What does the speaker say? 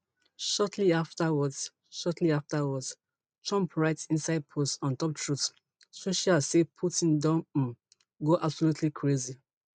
shortly afterwards shortly afterwards trump write inside post ontop truth social say putin don um go absolutely crazy